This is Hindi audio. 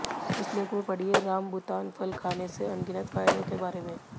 इस लेख में पढ़िए रामबुतान फल खाने से अनगिनत फायदों के बारे में